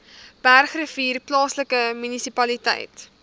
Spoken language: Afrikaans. bergrivier plaaslike munisipaliteit